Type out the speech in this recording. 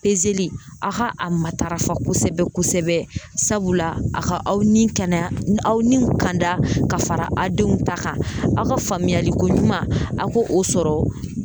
a ka a matarafa kosɛbɛ kosɛbɛ a ka aw ni kɛnɛya aw ni kanda ka fara aw denw ta kan aw ka faamuyali ko ɲuman a k'o sɔrɔ.